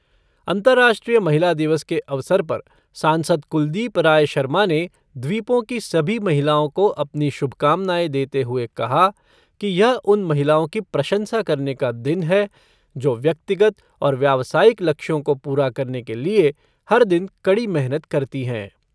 अंतर्राष्ट्रीय महिला दिवस के अवसर पर सांसद कुलदीप राय शर्मा ने द्वीपों की सभी महिलाओं को अपनी शुभकामनाएं देते हुए कहा कि यह उन महिलाओं की प्रशंसा करने का दिन है, जो व्यक्तिगत और व्यावसायिक लक्ष्यों को पूरा करने के लिए हर दिन कड़ी मेहनत करती हैं।